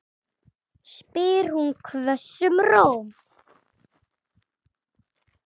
spyr hún hvössum rómi.